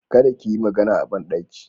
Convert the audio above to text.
Kada ki yi magana a banɗaki.